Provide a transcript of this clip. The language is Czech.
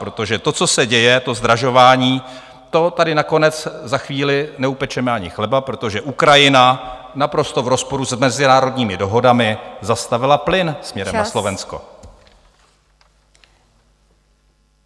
Protože to, co se děje, to zdražování, to tady nakonec za chvíli neupečeme ani chleba, protože Ukrajina naprosto v rozporu s mezinárodními dohodami zastavila plyn směrem na Slovensko.